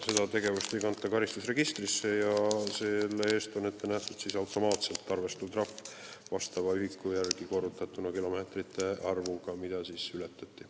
Seda ei kanta karistusregistrisse ja selle eest on ette nähtud automaatselt arvestatav trahv, vastav ühik korrutatuna kilomeetrite arvuga, kui palju kiirust ületati.